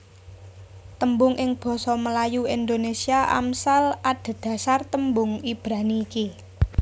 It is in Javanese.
Tembung ing basa Melayu Indonésia Amsal adhedhasar tembung Ibrani iki